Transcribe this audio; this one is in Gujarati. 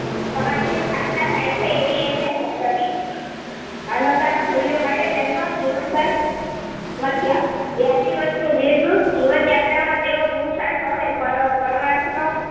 સમાજની સ્થાપના થાયછે એવી એમની હોશ હતી, માનવતાના મૂલ્યોમાટે તેમણે જીવનભર બયાસી વર્ષની દીર્ઘ જીવનયાત્રામાં તેઓ પુરુષાર્થ અને પ પરમર્થનો